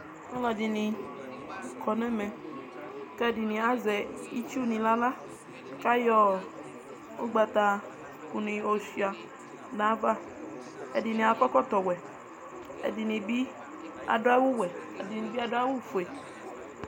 Alʋɛdini kɔnʋ ɛmɛ kʋ ɛdini azɛ itsu ni nʋ aɣla kʋ ayɔ ʋgbata kʋni yɔsuia nʋ ava ɛdini akɔ ekɔtɔwɛ ɛdini bi adʋ awʋɛ ɛdini bi adʋ awʋfue